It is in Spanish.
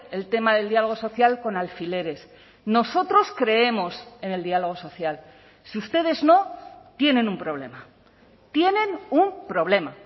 el tema del diálogo social con alfileres nosotros creemos en el diálogo social si ustedes no tienen un problema tienen un problema